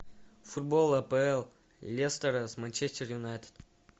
футбол апл лестера с манчестер юнайтед